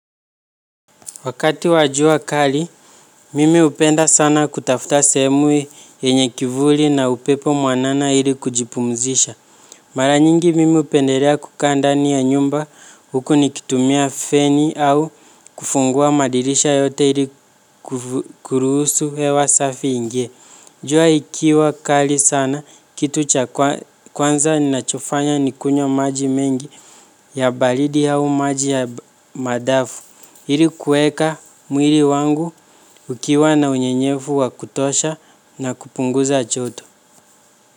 Wakati wa jua kali, mimi hupenda sana kutafuta sehemu yenye kivuli na upepo mwanana ili kujipumzisha. Maranyingi mimi hupendelea kuka ndani ya nyumba huku nikitumia feni au kufungua madirisha yote ili kuruhusu hewa safi ingie. Jua ikiwa kali sana, kitu cha kwanza ninachofanya ni kunywa maji mengi ya baridi au maji ya madafu. Ili kuweka mwili wangu ukiwa na unyenyevu wa kutosha na kupunguza joto.